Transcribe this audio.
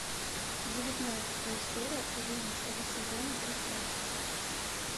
девятнадцатая серия одиннадцатого сезона пространство